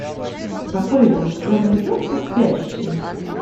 апл у тебя найдется спящие